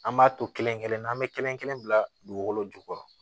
An b'a to kelen kelen na an bɛ kelen kelen bila dugukolo jukɔrɔ